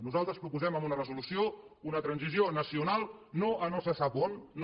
nosaltres proposem amb una resolució una transició nacional no a no se sap on no